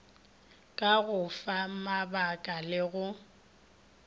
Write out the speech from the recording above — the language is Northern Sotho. ka go famabaka le go